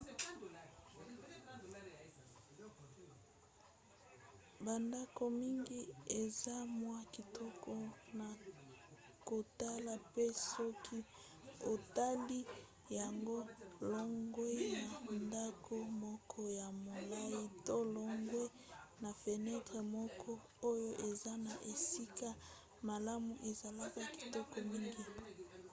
bandako mingi eza mwa kitoko na kotala mpe soki otali yango longwa na ndako moko ya molai to longwa na fenetre moko oyo eza na esika malamu ezalaka kitoko mingi